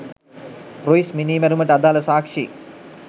Ruiz මිනිමැරුමට අදාල සාක්ෂි